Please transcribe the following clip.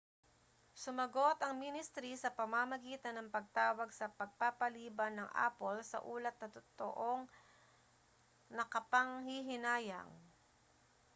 sumagot ang ministri sa pamamagitan ng pagtawag sa pagpapaliban ng apple sa ulat na totoong nakapanghihinayang